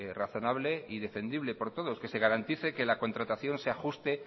razonable y defendible por todos que se garantice que la contratación se ajuste